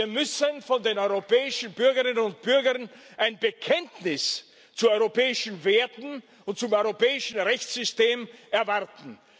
Wir müssen von den europäischen Bürgerinnen und Bürgern ein Bekenntnis zu europäischen Werten und zum europäischen Rechtssystem erwarten.